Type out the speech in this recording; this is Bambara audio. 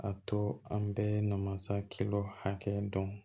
A to an bɛ masakɛ hakɛ dɔn